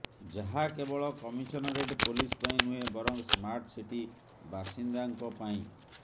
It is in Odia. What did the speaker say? ଯାହା କେବଳ କମିଶନରେଟ ପୋଲିସ ପାଇଁ ନୁହେଁ ବରଂ ସ୍ମାର୍ଟ ସିଟି ବାସିନ୍ଦାଙ୍କ ପାଇଁ